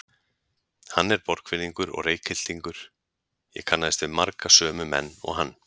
Hann er Borgfirðingur og Reykhyltingur, ég kannaðist við marga sömu menn og hann.